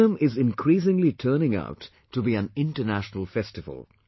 Onam is increasingly turning out to be an international festival